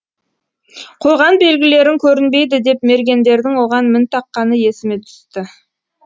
қойған белгілерің көрінбейді деп мергендердің оған мін таққаны есіме түсті